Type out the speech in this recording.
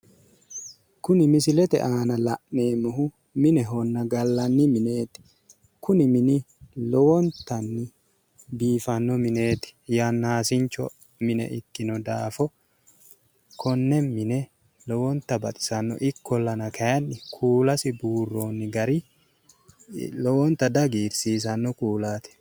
Kuni misilete aana la'neemmohu minehonna gallinni mineeti. Kuni mini lowontanni biifanno mineeti yannasincho mine ikkino daafo konne mine lowonta baxisanno. Ikkollana kayinni kuulasi buurronni gari lowonta dihagiirsiisanno kuulaati.